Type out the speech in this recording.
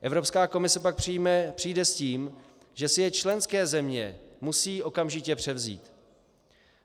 Evropská komise pak přijde s tím, že si je členské země musí okamžitě převzít.